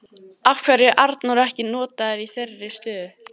Af hverju er Arnór ekki notaður í þeirri stöðu?